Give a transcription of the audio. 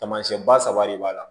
Taamasiyɛn ba saba de b'a la